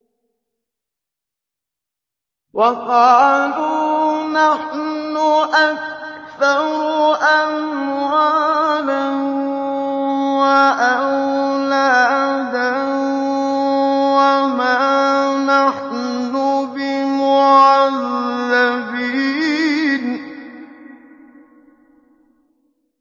وَقَالُوا نَحْنُ أَكْثَرُ أَمْوَالًا وَأَوْلَادًا وَمَا نَحْنُ بِمُعَذَّبِينَ